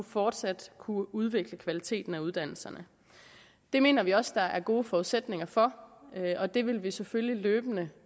fortsat at kunne udvikle kvaliteten af uddannelserne det mener vi også der er gode forudsætninger for og det vil vi selvfølgelig løbende